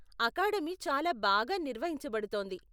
Academy చాలా బాగా నిర్వహించబడుతోంది.